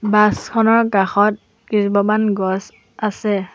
Bus খনৰ কাষত কেইজোপামান গছ আছে।